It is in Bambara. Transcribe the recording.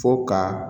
Fo ka